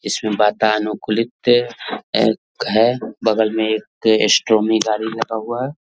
इसमे वातानुकुलित हैं बगल मे एक स्टैंड मे गाड़ी लगा हुआ है।